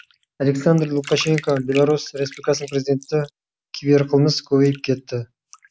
александр лукашенко беларусь республикасының президенті киберқылмыс көбейіп кетті